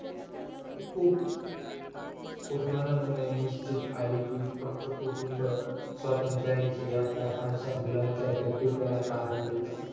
खुप कुटुंबाला मुळे निश्चित आले कि फक्त कुटुंब स्वात्रंच्यी आपल्या आकांशा मुलांच्या अस्तित्वाला कारण देतात